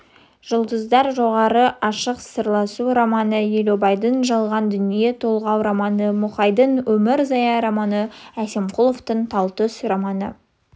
жұлдыздар шоғыры ашық сырласу романы елубайдың жалған дүние толғау-романы мұқайдың өмір зая романы әсемқұловтың талтүс романы